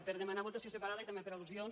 per demanar votació separada i també per al·lusions